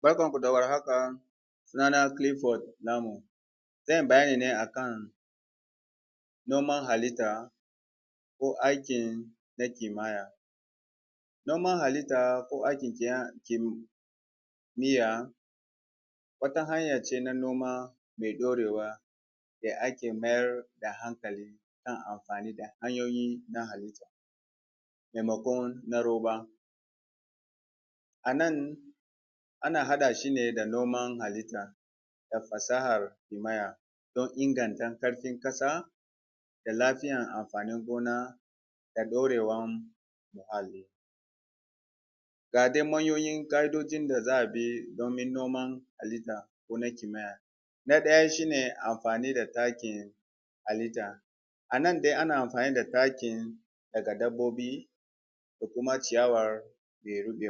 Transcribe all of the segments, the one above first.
Barkan ku da war haka Sunana Clifford Namu zan yi bayani ne akan noman halitta ko aikin kimiyya Noman halitta ko aikin kimiyya kimiyya wata hanya ce mai dorewa da ake mayar hankali kan amfani da hanyoyi na halitta maimakon na roba Anan ana haɗa shi da noman halitta da fasahar kimiyya don inganta ƙarfin ƙasa da lafiyar amfanin gona da dorewar muhalli Ga dai manyan ƙa’idojin da za a bi domin noman halitta ko na kimiyya Na ɗaya shine amfani da takin halitta A nan dai ana amfani da takin daga dabbobi ko kuma ciyawar da ta rube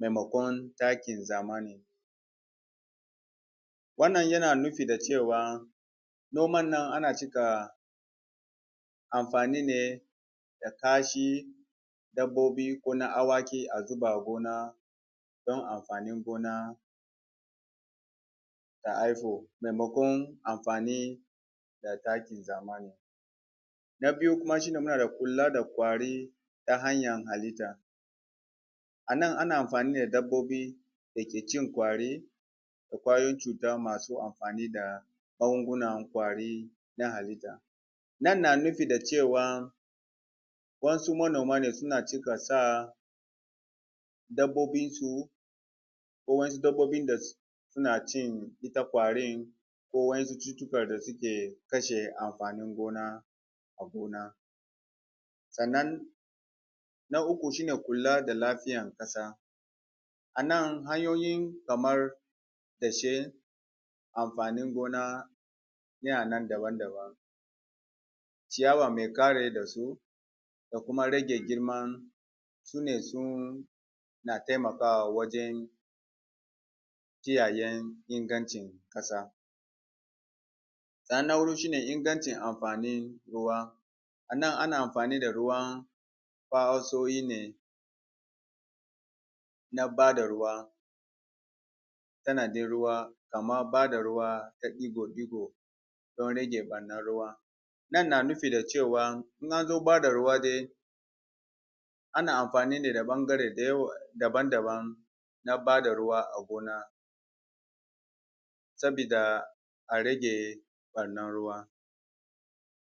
maimakon takin zamani Wannan yana nufin cewa a noman nan ana cika amfani ne da kashin dabbobi ko na awaki a zuba a gona don amfanin gona ya haifu maimakon amfani da takin zamani Na biyu kuma shine muna da kula da ƙwari ta hanyar halitta A nan ana amfani da dabbobin da ke cin ƙwari da ƙwayoyin cuta masu amfani da gungun ƙwari na halitta Nan na nufi da cewa wasu manoma suna cika da dabbobinsu ko wasu dabbobi da suke cin ƙwari ko wasu ƙwayoyin cuta da suke kashe amfanin gona a gona sannan Na uku shine kula da lafiyar ƙasa A nan hanyoyi kamar tashen amfanin gona yana nan daban-daban ciyawa mai kare ƙasa da kuma rage girman sune suna na taimakawa wajen kiyaye ingancin ƙasa Na huɗu shine ingancin amfani da ruwa. A nan ana amfani da ruwan na bada ruwa tsanadin ruwa kamar bada ruwa ta digo-digo don rage ɓarnar ruwa Nan na nufi da cewa in an zo bada ruwa ana amfani ne da bangarori daban-daban na bada ruwa a gona sabida a rage ɓarnar ruwa